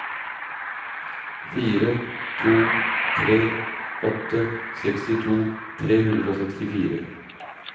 fire to tre åtte sekstito tre hundre og sekstifire